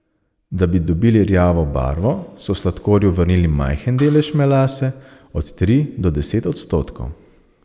Da bi dobili rjavo barvo, so sladkorju vrnili majhen delež melase, od tri do deset odstotkov.